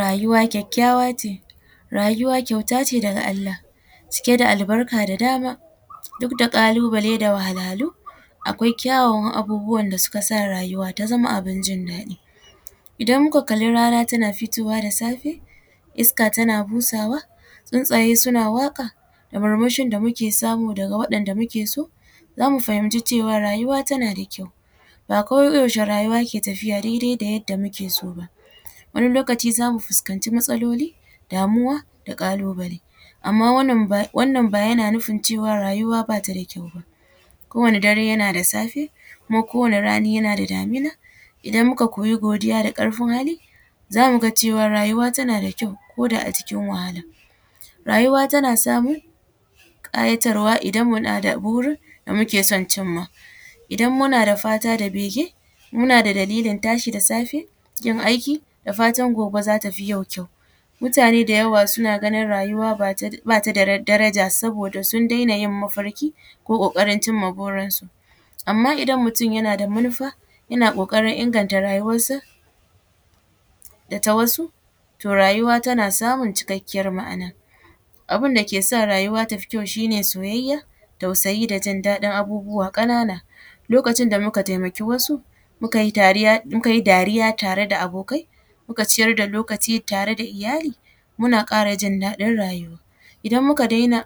Rayuwa kyakyawa ce rayuwa kyauta ce daga Allah cike da albarka da dama duk da kalubale duk da kalubale da wahalwalu, akwai kyawawan abubuwa da suka sa rayuwa ta zama abun jin daɗi, idan muka kalli rana tana fitowa da safe, iska tana busawa, tsuntsaye suna waƙa da murmushin da muke samu daga waɗanɗa muke so, zamu fahimci cewa rayuwa tana da kyau, ba ko yaushe rayuwa ke tafiya daidai da yadda muke so ba wani lokaci zamu fahimci matsaloli damuwa da kalubale amma wannan ba yana nufin cewa rayuwa bata da kyau ba, ko wani dare yana da safe kuma kowani rani yana da damuna, idan muka koyi godiya da karfin hali zamu ga cewa rayuwa tana da kyau koda a cikin wahala, rayuwa tana samun kayatarwa idan muna ma burin da muke son cimma, idan muna da fata da bege muna da dalilin tashi da safe muje aiki da fatan gobe zata fi yau kyau, mutane da yawa suna ganin rayuwa bata da daraja saboda sun daina yin mafarki ko kokarin cimma burinsu amma idan mutum yana da manufa yana kokarin inganta rayuwarsa da ta wasu to rayuwa tana samun cikakkiyar ma’ana, abun da ke sa rayuwa tafi kyau shi ne soyayya tausayi da jin ɗaɗin abubuwa kanana lokacin da muka taimaki wasu muka yi dariya tare da abokai muka ciyar da lokaci tare da iyali muna kara jin ɗaɗin rayuwa idan muka dena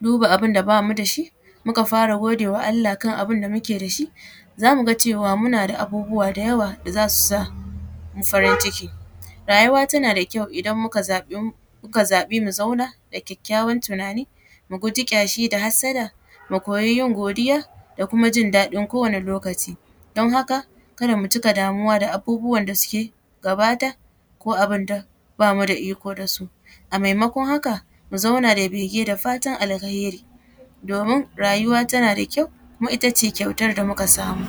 duba abun da bamu da shi muka fara godewa Allah kan abun da muke da shi zamu ga cewa muna da abubuwa da yawa da zasu samu farin ciki, rayuwa tana da kyau idan muka zaɓi mu zauna da kyakyawan tunani mu guji tsaki da hatsada mu koyi yin godiya da kuma jin ɗaɗin kowane lokaci don haka kada mu cika damuwa da abubuwan da suka gabata ko abun da bamu da iko da su a maimakon haka mu zauna da ɓege da fatan alheri domin rayuwa tana da kyau kuma itace kyautar da muka samu.